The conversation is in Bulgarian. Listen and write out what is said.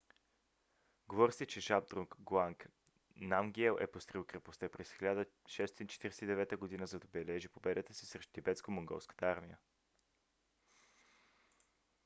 говори се че жабдрунг нгауанг намгиел е построил крепостта през 1649 г. за да отбележи победата си срещу тибетско-монголската армия